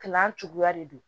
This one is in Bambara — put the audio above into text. Kilan cogoya de don